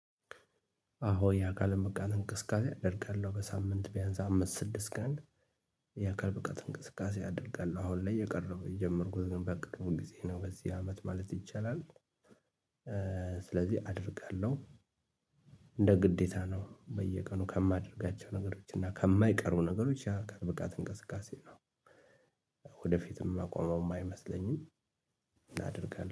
አዎ የአካል ብቃት እንቅስቃሴ አደርጋለሁ በሳምንት ቢያንስ አምስት ስድስት ቀን። የአካል ብቃት እንቅስቃሴ አደርጋለሁ አሁን ላይ የቀረው የጀመርኩት ነበር ቅርብ ጊዜ ነው በዚህ አመት ማለት ይቻላል። ስለዚህ አደርጋለሁ። እንደ ግዴታ ነው በየቀኑ ከማደርጋቸው ነገሮች እና ከማይቀሩ ነገሮች የአካል ብቃት እንቅስቃሴ ነው። ወደፊትም ማቆመውም አይመስለኝም። እና አደርጋለሁ